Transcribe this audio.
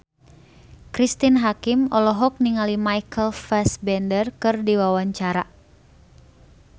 Cristine Hakim olohok ningali Michael Fassbender keur diwawancara